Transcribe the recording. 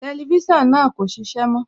Tẹlifísàn náà kò ṣiṣẹ́ mọ́